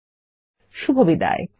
শুভবিদায়